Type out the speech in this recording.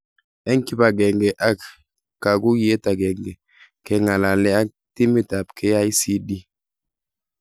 Eng kibagenge ak kakuyet agenge kenga'alale ak timit ab KICD